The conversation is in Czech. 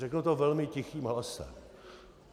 Řeknu to velmi tichým hlasem.